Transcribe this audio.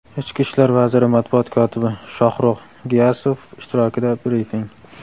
Ichki ishlar vaziri matbuot kotibi Shoxrux Giyasov ishtirokida brifing.